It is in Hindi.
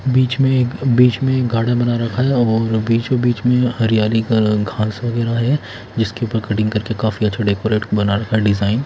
बीच में एक गार्डन बना रखा है और बीचो-बीच मे हरियाली का घास-वगैरह है जिसके ऊपर कटिंग करके काफी अच्छा डेकोरेट बना रखा है डिजाइन --